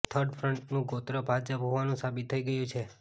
third ફ્રન્ટનું ગોત્ર ભાજપ હોવાનું સાબિત થઈ ગયું છે